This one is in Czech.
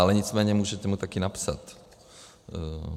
Ale nicméně můžete mu také napsat.